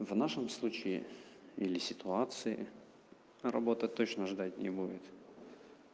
в нашем случае или ситуации работа точно ждать не будет